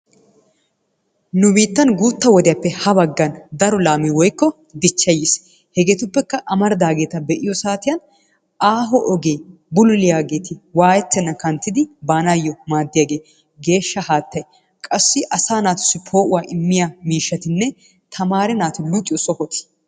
Nu biittan guutta wodiyappe ha baggan daro laamee woykko dichchay yiis. Hegeetuppekka amaridaageeta be'iyo saatiyan aaho ogee bululiyageeti waayettennan kanttidi baanaayyo maaddiyagee, geeshsha haattay, qassi asaa naatussi poo'uwa immiya miishshatiinne tamaare naati luxiyo sohoti,,